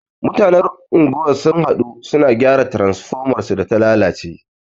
Mutanen unguwar sun haɗu, su na gyara transfomar su da ta lalace.